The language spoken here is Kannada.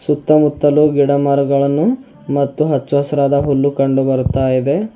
ಸುತ್ತ ಮುತ್ತಲು ಗಿಡ ಮರಗಳನ್ನು ಮತ್ತು ಹಚ್ಚು ಹಸಿರಾದ ಹುಲ್ಲು ಕಂಡುಬರುತಾಇದೆ.